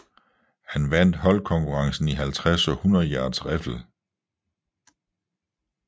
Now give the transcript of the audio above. Han vandt holdkonkurrencen i 50 og 100 yards riffel